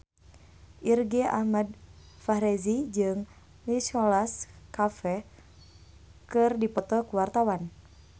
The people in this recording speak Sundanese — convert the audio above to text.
Irgi Ahmad Fahrezi jeung Nicholas Cafe keur dipoto ku wartawan